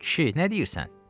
Kişi, nə deyirsən?